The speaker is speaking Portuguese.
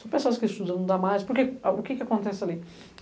São pessoas que estudam, não dá mais, porque o que que acontece ali?